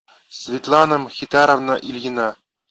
светлана мхитаровна ильина